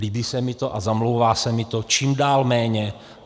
Líbí se mi to a zamlouvá se mi to čím dál méně.